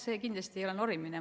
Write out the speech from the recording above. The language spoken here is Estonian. See kindlasti ei ole norimine.